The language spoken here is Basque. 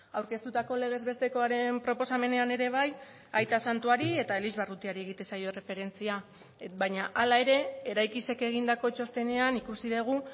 aurkeztutako legez bestekoaren proposamenean ere bai aita santuari eta elizbarrutiari egiten zaio erreferentzia baina hala ere eraikizek egindako txostenean ikusi dugu